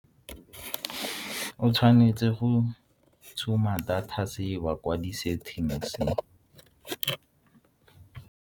O tshwanetse go tshuma data saver kwa di-settings-e.